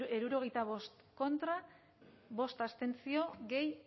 hirurogeita bost kontra bost abstentzio gehi